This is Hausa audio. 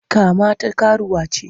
Kama ta karuwa ce!